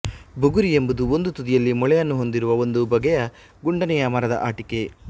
ಬುಗುರಿ ಎಂಬುದು ಒಂದು ತುದಿಯಲ್ಲಿ ಮೊಳೆಯನ್ನು ಹೊಂದಿರುವ ಒಂದು ಬಗೆಯ ಗುಂಡನೆಯ ಮರದ ಆಟಿಕೆ